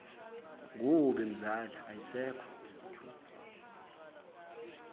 kubi mzala ayisekho